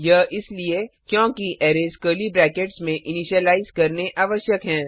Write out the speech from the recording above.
यह इसलिए क्योंकि अरैज कर्ली ब्रैकेट्स में इनिशलाइज करने आवश्यक हैं